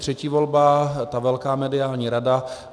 Třetí volba, ta velká mediální rada.